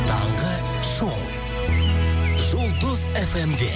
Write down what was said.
таңғы шоу жұлдыз фмде